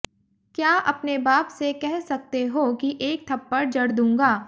क्या अपने बाप से कह सकते हो कि एक थप्पड़ जड़ दूंगा